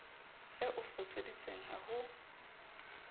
ya o foseditseng ha ho